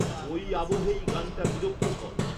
ওই আবহেই গানটা বিরক্তিকর